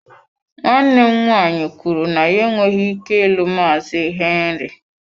Nwanne m nwaanyị kwuru na ya enweghị ike ịlụ Maazị Henry.